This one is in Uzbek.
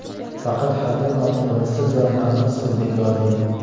Faqat haddan ortiq o‘rinsiz va mantiqsiz ”, deb yozdi .